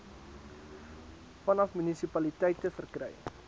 vanaf munisipaliteite verkry